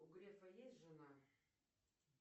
у грефа есть жена